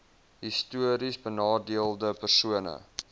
histories benadeelde persone